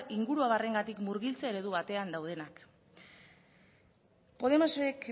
inguruabarrengatik murgiltze eredu batean daudenak podemosek